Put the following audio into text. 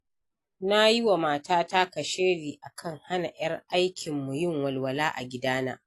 Na yi wa matata kashedi a kan hana ‘yar aikinmu yin walwala a gidana.